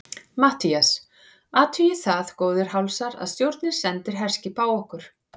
MATTHÍAS: Athugið það, góðir hálsar, að stjórnin sendir herskip á okkur!